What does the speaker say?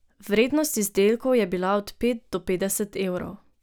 Vrednost izdelkov je bila od pet do petdeset evrov.